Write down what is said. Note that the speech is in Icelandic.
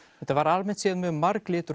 þetta var almennt séð mjög